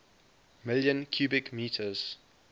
million cubic meters